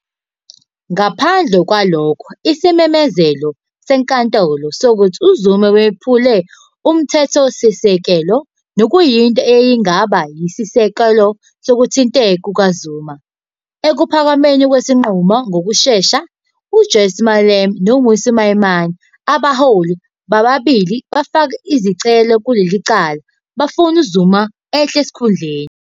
Ngaphandle kwalokho isimemezelo seNkantolo sokuthi uZuma wephule uMthethosisekelo, nokuyinto eyayingaba yisisekelo sokuthinteka kukaZuma. Ekuphakameni kwesinqumo ngokushesha, uJulius Malema noMmusi Maimane, abaholi bababili abafake izicelo kuleli cala, bafuna uZuma ehle esikhundleni.